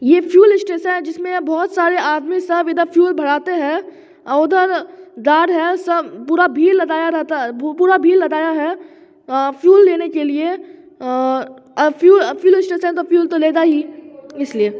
यह fuel station है जिसमें बहुत सारे आदमी सब इधर फ्यूल भराते हैं अ उधर गार्ड है सब पूरा भीड़ लगाया रहता है पूरा भीड़ लगाया है अ फ्यूल लेने के लिए अ-और फ्यूल स्टेशन है तो फ्यूल तो लगा ही इसलिए ।